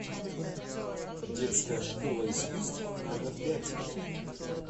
детская школа искусств номер пять